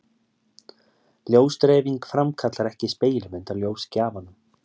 Ljósdreifing framkallar ekki spegilmynd af ljósgjafanum.